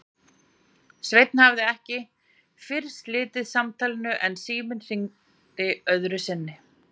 Sveinn hafði ekki fyrr slitið samtalinu en síminn hringdi öðru sinni.